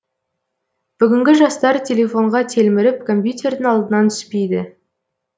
бүгінгі жастар телефонға телміріп компьютердің алдынан түспейді